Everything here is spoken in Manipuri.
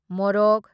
ꯃꯣꯔꯣꯛ